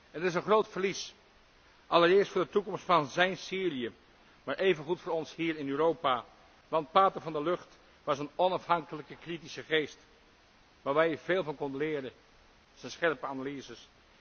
Het is een groot verlies, allereerst voor de toekomst van zijn Syrië, maar evengoed voor ons hier in Europa, want pater Van der Lugt was een onafhankelijke kritische geest, waarvan je veel kon leren, zijn scherpe analyses.